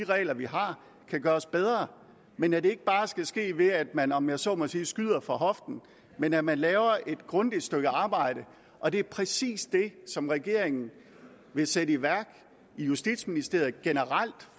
regler vi har kan gøres bedre men at det ikke bare skal ske ved at man om jeg så må sige skyder fra hoften men at man laver et grundigt stykke arbejde og det er præcis det som regeringen vil sætte i værk i justitsministeriet generelt